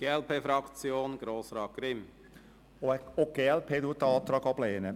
Auch die glp lehnt den Antrag ab.